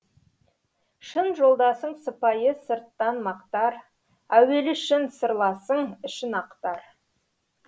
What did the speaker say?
шын жолдасың сыпайы сырттан мақтар әуелі шын сырласың ішін ақтар